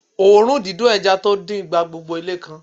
Òórùn dídùn ẹja tó dín gba gbogbo ilé kan